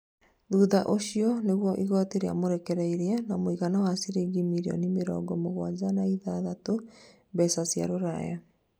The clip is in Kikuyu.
thutha ũcio nĩrio igoti ria mũrekereirie, na muigana wa ciringi mirĩoni mĩrongo mũgwanja na ithathatũ mbeca cia rũraya